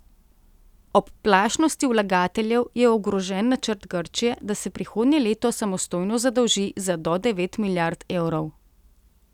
Ob plašnosti vlagateljev je ogrožen načrt Grčije, da se prihodnje leto samostojno zadolži za do devet milijard evrov.